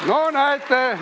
No näete!